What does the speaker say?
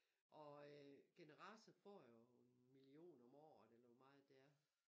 Og øh generator får jo en million om året eller hvor meget det er